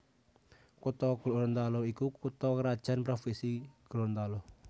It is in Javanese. Kutha Gorontalo iku kutha krajan provinsi Gorontalo